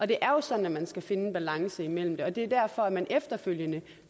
det er jo sådan at man skal finde en balance mellem de ting og det er derfor man efterfølgende